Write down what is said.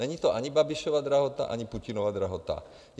Není to ani Babišova drahota, ani Putinova drahota.